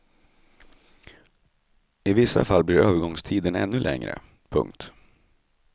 I vissa fall blir övergångstiden ännu längre. punkt